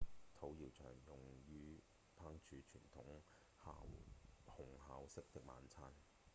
土窯常用於烹煮傳統烘烤式的晚餐